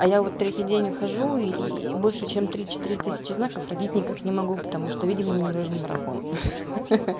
а я вот третий день выхожу и больше чем три четыре тысячи знаков родить никак не могу потому что видимо мне нужен марафон ха-ха